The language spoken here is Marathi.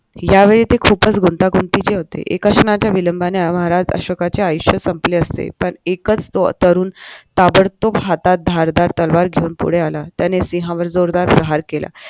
यावेळी ते खूपच गुंतागुतीचे होते एका क्षनाच्या विलंबनाने महाराज अशोकाचे आयुष्य संपले असते पण एकच तरुण ताबडतोब हातात धारदार तलवार घेऊन पुढे आला त्याने सिंहावर जोरदार प्रहार केला